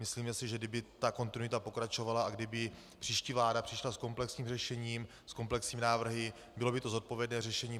Myslíme si, že kdyby ta kontinuita pokračovala a kdyby příští vláda přišla s komplexním řešením, s komplexními návrhy, bylo by to zodpovědné řešení.